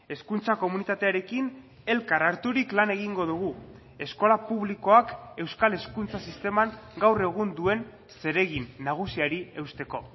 hezkuntza komunitatearekin elkar harturik lan egingo dugu eskola publikoak euskal hezkuntza sisteman gaur egun duen zeregin nagusiari eusteko